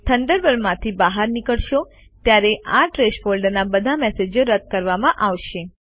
Thunderbird માંથી બહાર નીકળશો ત્યારે આ ટ્રૅશ ફોલ્ડરના બધા મેસેજો રદ કરવામાં આવશે